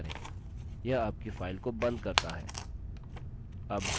यह आपकी file को बंद करता है